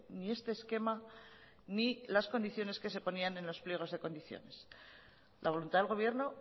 ni este esquema ni las condiciones que se ponían en los pliegos de condiciones la voluntad del gobierno